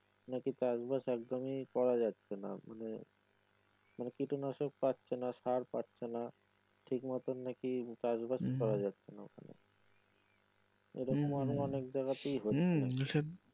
নাকি চাষ বাস একদমই করা যাচ্ছে নাহ মানে মানে কীটনাশক পাচ্ছে না সার পাচ্ছে নাহ ঠিকমত নাকি চাষ বাস করা যাচ্ছে নাহ ওইখানে এইরকম আরো অনেক জায়গাতেই হচ্ছে।